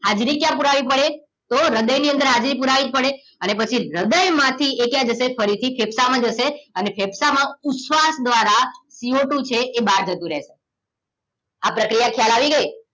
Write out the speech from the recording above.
હાજરી ક્યાં પુરાવી પડે તો હ્રદય ની અંદર હાજરી પુરાવી પડે અને પછી હ્રદય માંથી એ ક્યાં જશે ફરીથી ફેફસા માં જશે અને ફેફસા માં ઉચ્છવાસ દ્રારા CO ટુ છે એ બાર જતુંરેસે આ પ્રક્રિયા ખ્યાલ આવી ગઈ